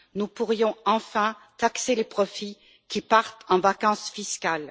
Nous pourrions enfin taxer les profits qui partent en vacances fiscales.